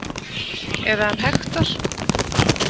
Eða um Hektor.